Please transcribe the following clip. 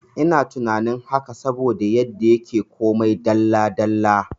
Ina tunanin haka saboda yanda yake komai dalla dalla